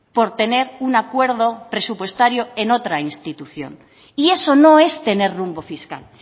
por tener un acuerdo presupuestario en otra institución y eso no es tener rumbo fiscal